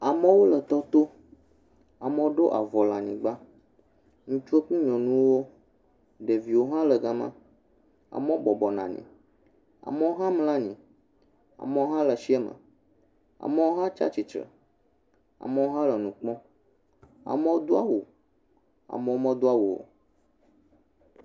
Amewo le tɔto amewo do avɔ le anyigba ŋutsu kple nyɔnu wo ɖeviwo hã le gã ma amewo bɔbɔ nɔ anyi amewo hã mlɔ anyi amewo hã le tsi a me amewo hã tsiatsitrɛ amewo hã le nu kpɔm amewo do awu amewo wo me do awu o.